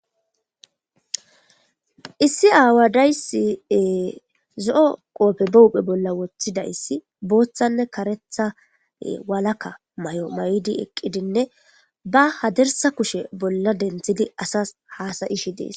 Issi aawadayssi ee zo7o qoofe be huphe bolla woththidayssi booththanne kareethae walakka mayo mayidi eqqidinne ba hadirssa kushe bolla denthidi asas hasa7ishi dees.